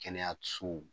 Kɛnɛyasow